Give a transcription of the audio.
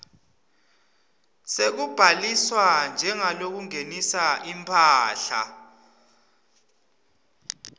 sekubhaliswa njengalongenisa imphahla